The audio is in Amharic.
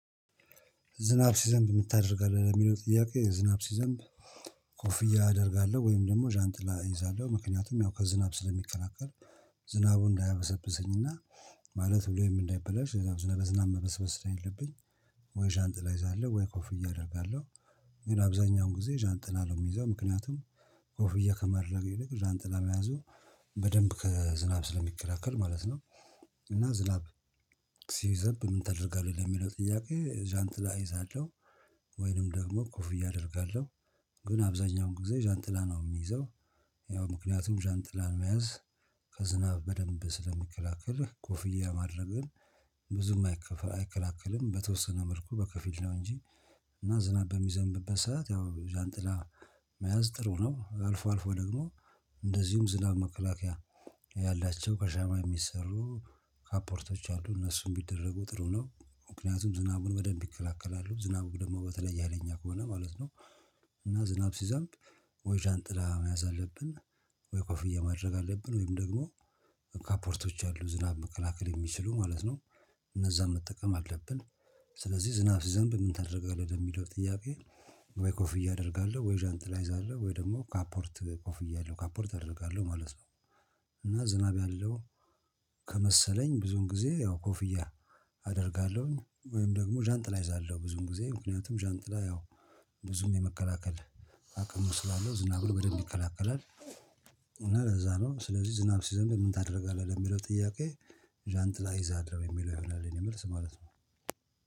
ዝናብ ሲዘንብ ምን ታደርጋለህ ለሚለው ጥያቄ? ዝናብ ሲዘንብ ኮፍያ አደርጋለሁ ወይም ደግሞ ዣንጥላ እይዛለሁ ምክንያቱም ያው ከዝናብ ስለሚከላከል ዝናቡን እንዳያበሰብሰኝና ማለት ውሎየ እንዳይበላሽ በዝናብ መበስበስ ስለሌለብኝ ወይ ዣንጥላ ይዛለሁ ወይ ኮፍያ አደርጋለሁ። ግን አብዛኛውን ጊዜ ዣንጥላ ነው የሚይዘው ምክንያቱም ኮፍያ ከማድረግ ይልቅ ዣንጥላ መያዙ በደንብ ከዝናብ ስለሚከላከል ማለት ነው። እና ዝናብ ሲዘንብ ምን ታደርጋለሁ ለሚለው ጥያቄ? ዣንጥላ እይዛለሁ ወይንም ደግሞ ኮፍያ አደርጋለሁ። ግን አብዛኛው ጊዜ ዣንጥላ ነው የሚይዘው። ያው ምክንያቱም ዣንጥላን መያዝ ከዝናብ በደንብ ስለሚከላከል ኮፍያ ማድረግን ብዙም አይከላከልም በተወሰነ መልኩ በከፊል ነው እንጂ። እና ዝናብ በሚዘንብበት ሰዓት ያው ዣንጥላ መያዝ ጥሩ ነው። አልፎ አልፎ ደግሞ እንደዚሁም ዝናብ መከላከያ ያላቸው ከሻማ የሚሰሩ ካፖርቶች አሉ እነሱም ቢደረጉ ጥሩ ነው። ምክንያቱም ዝናቡን በደንብ ይከለክላሉ ዝናቡ ደግሞ በተለይ ኋይለኛ ከሆነ ማለት ነው። እና ዝናብ ሲዘንብ ወይ ዣንጥላ መያዝ አለብን ወይ ኮፍያ ማድረግ አለብን ወይም ደግሞ ካፖርቶች አሉ ዝናብ መከላከል የሚችሉ ማለት ነው። እነዛን መጠቀም አለብን። ስለዚህ ዝናብ ሲዘንብ ምን ታደርጋለህ ለሚለው ጥያቄ? ወይ ኮፍያ አደርጋለሁ ወይ ዣንጥላ ይዛለሁ ወይ ደግሞ ካፖርት ኮፍያ ያለው ካፖርት አደርጋለሁ ማለት ነው። እና ዝናብ ያለው ከመሰለኝ ብዙን ጊዜ ያው ኮፍያ አደርጋለሁኝ ወይም ደግሞ ዣንጥላ ይዛለሁ ብዙን ጊዜ ምክንያቱም ዣንጥላ ያው ብዙም የመከላከል አቅም ስላለው ዝናብን በደንብ ይከላከላል። እና ለዛ ነው ስለዚህ ዝናብ ሲዘንብ ምን ታደርጋለህ ለሚለው ጥያቄ ዣንጥላ ይዛለሁ የሚለው ይሆናል። የኔ መልስ ማለት ነው።